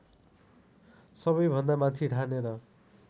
सबैभन्दा माथि ठानेर